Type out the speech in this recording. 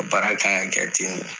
Baara kan ka kɛ ten de.